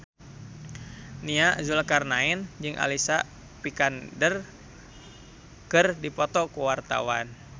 Nia Zulkarnaen jeung Alicia Vikander keur dipoto ku wartawan